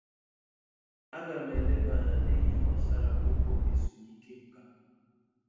A ga m eleba anya nihe gbasara ụgwọ ezumike nká.